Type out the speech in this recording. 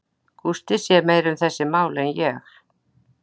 Gústi sér meira um þessi mál en ég.